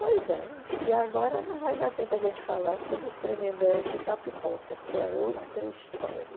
Pois é, e agora não vai dar tempo a gente falar sobre os Tremembé de Itapipoca, porque é outra história.